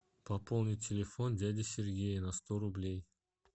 пополнить телефон дяди сергея на сто рублей